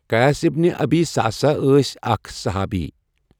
قیس بن ابی صعصہ ٲسؠ اَکھ صُحابی